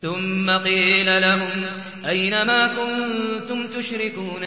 ثُمَّ قِيلَ لَهُمْ أَيْنَ مَا كُنتُمْ تُشْرِكُونَ